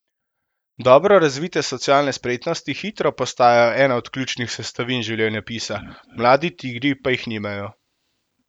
Dobro razvite socialne spretnosti hitro postajajo ena od ključnih sestavin življenjepisa, mladi tigri pa jih nimajo.